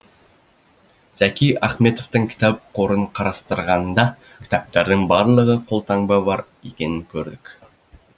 зәки ахметовтың кітап қорын қарастырғанда кітаптардың барлығында қолтаңба бар екенін көрдік